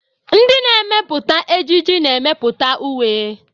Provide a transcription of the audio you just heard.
Ndị na-emepụta ejiji na-emepụta uwe.